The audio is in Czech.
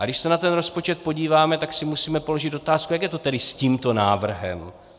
A když se na ten rozpočet podíváme, tak si musíme položit otázku: Jak je to tedy s tímto návrhem?